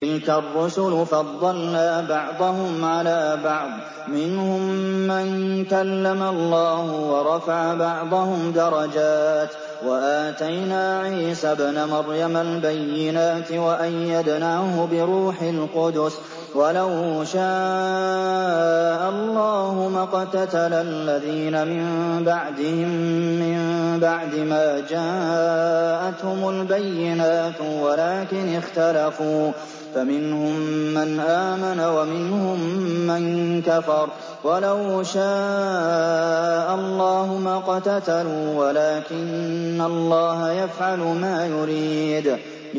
۞ تِلْكَ الرُّسُلُ فَضَّلْنَا بَعْضَهُمْ عَلَىٰ بَعْضٍ ۘ مِّنْهُم مَّن كَلَّمَ اللَّهُ ۖ وَرَفَعَ بَعْضَهُمْ دَرَجَاتٍ ۚ وَآتَيْنَا عِيسَى ابْنَ مَرْيَمَ الْبَيِّنَاتِ وَأَيَّدْنَاهُ بِرُوحِ الْقُدُسِ ۗ وَلَوْ شَاءَ اللَّهُ مَا اقْتَتَلَ الَّذِينَ مِن بَعْدِهِم مِّن بَعْدِ مَا جَاءَتْهُمُ الْبَيِّنَاتُ وَلَٰكِنِ اخْتَلَفُوا فَمِنْهُم مَّنْ آمَنَ وَمِنْهُم مَّن كَفَرَ ۚ وَلَوْ شَاءَ اللَّهُ مَا اقْتَتَلُوا وَلَٰكِنَّ اللَّهَ يَفْعَلُ مَا يُرِيدُ